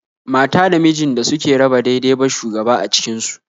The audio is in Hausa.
Mata da mijin da suke raba dai-dai ba shugaba a cikin su